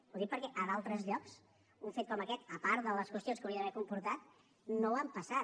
ho dic perquè a d’altres llocs un fet com aquest a part de les qüestions que hauria d’haver comportat no l’han passat